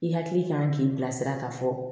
I hakili kan k'i bilasira ka fɔ